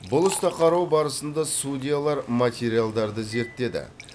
бұл істі қарау барысында судьялар материалдарды зерттеді